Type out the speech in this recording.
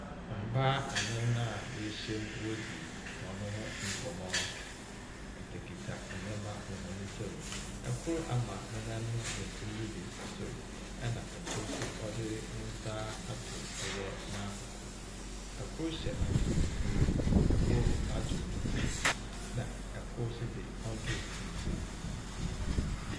Mbaa anan a woehyia mu woridzi hɔn ho nkɔmbɔ. Wokitakita ndzɛmba wɔ hɔn nsamu. Kor ama ne nan benkum do dze esi sor, ɛna kor nso wɔde ne nsa atow ɔyɛ n'akoko. Kor hyɛ atar fufuw. Kor adwew ne tsir na kor nso dze, ɔndwew ne tsir.